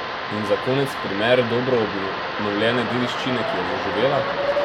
In za konec primer dobro obnovljene dediščine, ki je zaživela?